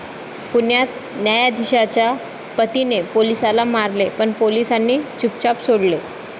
पुण्यात 'न्यायधीशा'च्या पतीने पोलिसाला मारले पण पोलिसांनी चुपचाप सोडले